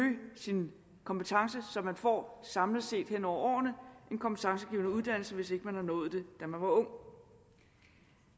sin kompetence som man får samlet set hen over årene en kompetencegivende uddannelse hvis ikke man har nået det da man var ung